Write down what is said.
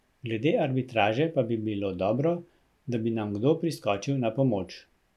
Glede arbitraže pa bi bilo dobro, da bi nam kdo priskočil na pomoč.